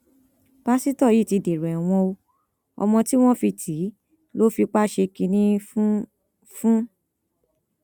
pásítọ yìí ti dèrò ẹwọn o ọmọ tí wọn fi tì í lọ fipá ṣe kínní fún fún